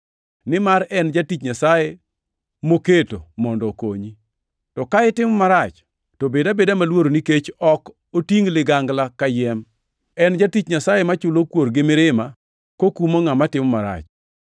Nimar en jatich Nyasaye moketo mondo okonyi. To ka itimo marach, to bed abeda maluor nikech ok otingʼ ligangla kayiem! En jatich Nyasaye machulo kuor gi mirima kokumo ngʼama timo marach.